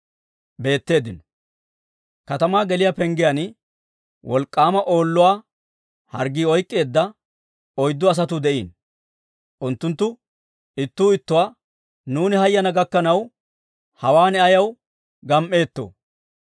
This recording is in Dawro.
Katamaa geliyaa penggiyaan wolk'k'aama Oolluwaa harggii oyk'k'eedda oyddu asatuu de'iino. Unttunttu ittuu ittuwaa, «Nuuni hayk'k'ana gakkanaw, hawaan ayaw gam"eetto?